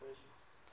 worth